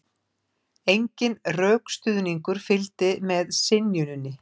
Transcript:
Enginn rökstuðningur fylgdi með synjuninni